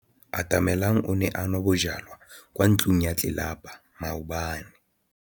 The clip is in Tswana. Atamelang o ne a nwa bojwala kwa ntlong ya tlelapa maobane.